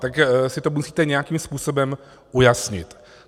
Tak si to musíte nějakým způsobem ujasnit.